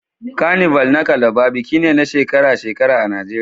Carnival na Calabar biki ne na shekara-shekara a Najeriya